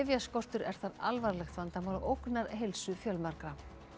lyfjaskortur er þar alvarlegt vandamál og ógnar heilsu fjölmargra